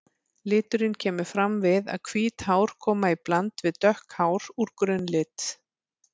Liturinn kemur fram við að hvít hár koma í bland við dökk hár úr grunnlit.